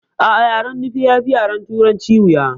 A'a yaren nufe yafi yaren turanci wuya